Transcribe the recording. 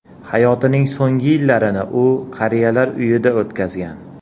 Hayotining so‘nggi yillarini u qariyalar uyida o‘tkazgan.